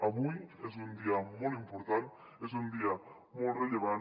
avui és un dia molt important és un dia molt rellevant